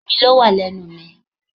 Omi ló wà lẹ́nu mi